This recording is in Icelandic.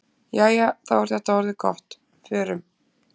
Jæja, þá er þetta orðið gott. Förum.